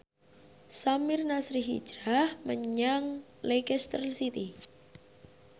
Samir Nasri hijrah menyang Leicester City